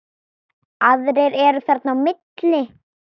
Aðrir eru þarna á milli.